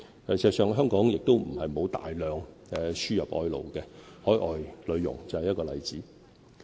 事實上，香港亦不是沒有大量輸入外勞，海外女傭就是一個例子。